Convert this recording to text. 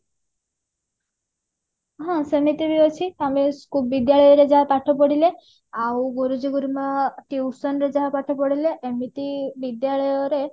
ହଁ ସେମିତି ବି ଅଛି ଆମ SCO ବିଦ୍ୟାଳୟରେ ଯାହା ପାଠ ପଢିଲେ ଆଉ ଗୁରୁଜୀ ଗୁରୁମା tuition ରେ ଯାହା ପାଠ ପଢେଇଲେ ଏମିତି ବିଦ୍ୟାଳୟରେ